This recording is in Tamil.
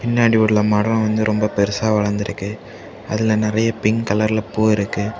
பின்னாடி உள்ள மரம் வந்து ரொம்ப பெருசா வளந்திருக்கு அதுல நிறைய பிங்க் கலர்ல பூ இருக்கு.